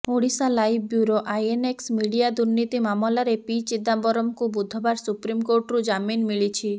Odisha live bureau INX media ଦୁର୍ନୀତି ମାମଲାରେ P ଚିଦାମ୍ବରମକୁ ବୁଧବାର ସୁପ୍ରିମକୋର୍ଟରୁ ଜାମିନ ମିଳିଛି